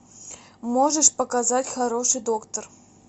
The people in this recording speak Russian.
можешь показать хороший доктор